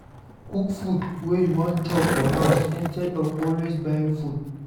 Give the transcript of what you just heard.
Cook food wey you wan chop for house instead of always buying food